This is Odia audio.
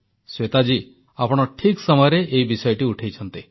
ଶ୍ୱେତା ଜୀ ଆପଣ ଠିକ୍ ସମୟରେ ଏହି ବିଷୟଟି ଉଠାଇଛନ୍ତି